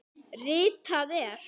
Ritað er